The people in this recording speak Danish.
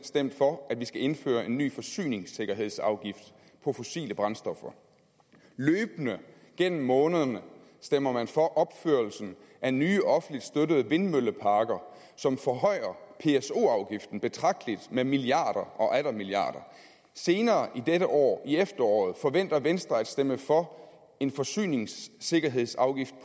stemt for at vi skal indføre en ny forsyningssikkerhedsafgift på fossile brændstoffer løbende gennem månederne stemmer man for opførelsen af nye offentligt støttede vindmølleparker som forhøjer pso afgiften betragteligt med milliarder og atter milliarder senere i dette år i efteråret forventer venstre at stemme for en forsyningssikkerhedsafgift